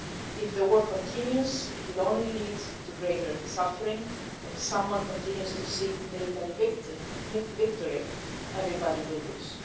If the war continues, it will only lead to greater suffering and if someone continues to seek military victory everybody will lose.